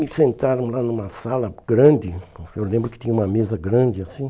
Me sentaram lá numa sala grande, eu lembro que tinha uma mesa grande assim.